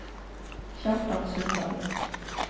Kjartan Sundal